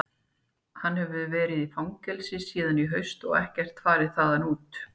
Hann hefur verið í fangelsi síðan í haust og ekkert farið þaðan út.